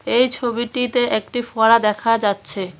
এই ছবিটিতে একটি ফোয়ারা দেখা যাচ্ছে।